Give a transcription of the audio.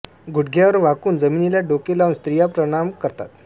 गुडघ्यावर वाकून जमीनीला डोके लावून स्त्रिया प्रणाम करतात